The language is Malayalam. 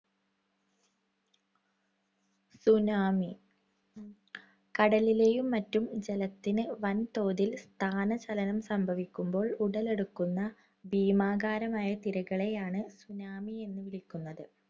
Tsunami കടലിലെയും മറ്റും ജലത്തിന് വൻതോതിൽ സ്ഥാനചലനം സംഭവിക്കുമ്പോൾ ഉടലെടുക്കുന്ന ഭീമാകാരമായ തിരകളെയാണ് tsunami എന്നു വിളിയ്ക്കുന്നത്.